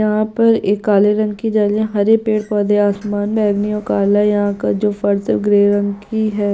यहाँ पर एक काले रंग की जाली है हरे पेड़ - पौधे है आसमान बैगनी और काला है यहाँ का जो फर्श है वो ग्रे रंग की है।